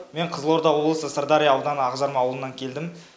мен қызылорда облысы сырдария ауданы ақжарма ауылынан келдім